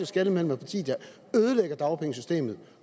skelne mellem et parti der ødelægger dagpengesystemet